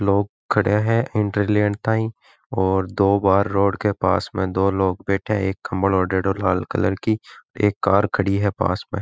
लोग खड़े हैं एन्ट्री लेण ताही और दो बाहर रोड के पास में दो लोग बैठे हैं एक कंबल ओढ़योड़ो लाल कलर की एक कार खड़ी है पास में।